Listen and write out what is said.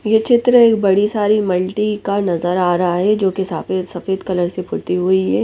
ये चित्र एक बड़ी सारी मल्टी का नजर आ रहा है जो की सफेद सफेद कलर से हुई है।